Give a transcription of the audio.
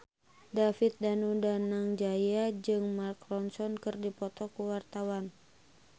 David Danu Danangjaya jeung Mark Ronson keur dipoto ku wartawan